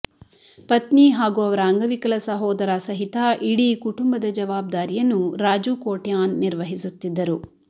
ಪತ್ನಿ ಹಾಗೂ ಅವರ ಅಂಗವಿಕಲ ಸಹೋದರ ಸಹಿತ ಇಡೀ ಕುಟುಂಬದ ಜವಾಬ್ದಾರಿಯನ್ನು ರಾಜು ಕೋಟ್ಯಾನ್ ನಿರ್ವಹಿಸುತ್ತಿದ್ದರು